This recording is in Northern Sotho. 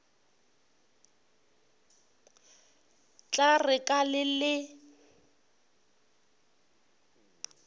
tla re ka le le